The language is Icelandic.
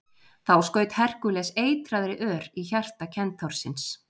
þá skaut herkúles eitraðri ör í hjarta kentársins